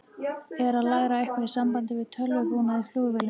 Er að læra eitthvað í sambandi við tölvubúnað í flugvélum.